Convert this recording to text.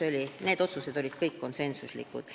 Kõik need otsused olid konsensuslikud.